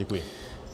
Děkuji.